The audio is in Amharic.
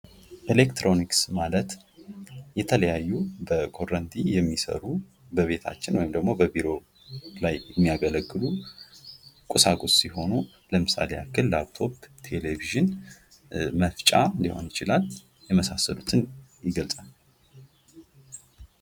ኤሌክትሮኒክስ ማለት የተለያዩ በኮረንቲ የሚሰሩ በቤታችን ወይም ደግሞ በቢሮ ላይ የሚያገለግሉ ኮሳቁስ ሲሆኑ ለምሳሌ ያህል ላፕቶፕሥ ፥ቴሌቪዥን ፥መፍጫ ሊሆን ይችላል የመሳሰሉትን ይገልፃል።